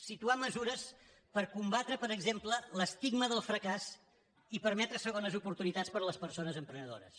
situar mesures per combatre per exemple l’estigma del fracàs i permetre segones oportunitats per a les persones emprenedores